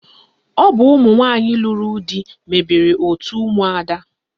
Ọ bụ ụmụnwanyị lụrụ di mebere otu ụmụada